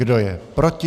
Kdo je proti?